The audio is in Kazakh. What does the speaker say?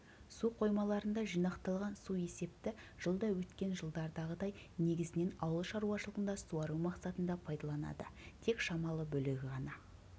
су қоймаларында жинақталған су есепті жылда өткен жылдардағыдай негізінен ауыл шаруашылығында суару мақсатында пайдаланады тек шамалы бөлігі ғана